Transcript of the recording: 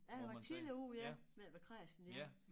Jeg har været tidligt ude ja med at være kræsen ja